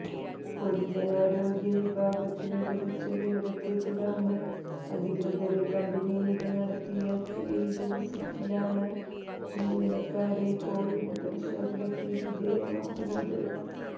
പൊതുജനാരോഗ്യ വിഭാഗത്തിനു ലഭിച്ച വിവരത്തെത്തുടര്ന്ന് അധികൃതര് കമ്പനിയില് നടത്തിയ ഫീല്ഡ് വിസിറ്റിലാണ് ജീവനക്കാരെ കോവിഡ് പരിശേധനക്ക്് വിധയമാക്കുന്നത്